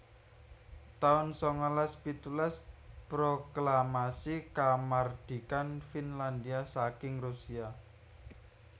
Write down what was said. taun sangalas pitulas Proklamasi Kamardikan Finlandhia saking Rusia